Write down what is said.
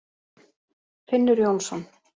Finnur Jónsson.